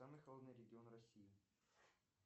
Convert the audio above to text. самый холодный регион россии